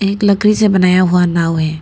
एक लकड़ी से बनाया हुआ नाव है।